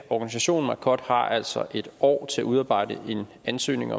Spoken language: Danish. organisationen marcod har altså et år til at udarbejde en ansøgning